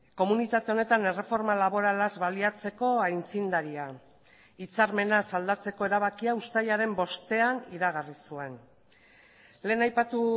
komunitate honetan erreforma laboralaz baliatzeko aitzindaria hitzarmenaz aldatzeko erabakia uztailaren bostean iragarri zuen lehen aipatu